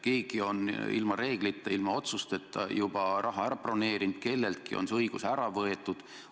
Keegi on ilma reegliteta, ilma otsusteta juba raha ära broneerinud, kelleltki on see õigus ära võetud.